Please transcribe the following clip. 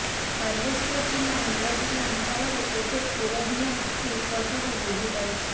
ବାଲେଶ୍ବର ଜିଲ୍ଲା ନୀଳଗିରି ଅଂଚଳରେ ଏବେ କୁଳଡିହା ହାତୀ ଉପଦ୍ରବ ବୃଦ୍ଧିପାଇଛି